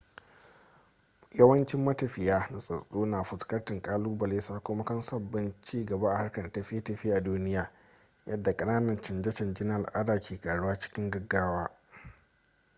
yawancin matafiya nutsatststsu na fuskantar kalubale sakamakon sabbin ci gaba a harkar tafiye-tafiye a duniya yadda kananan canje-canje na al'ada ke karuwa cikin gaggawa